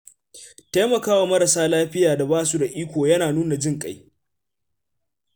Taimakawa marasa lafiya da ba su da iko yana nuna jin ƙai.